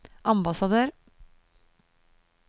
ambassadør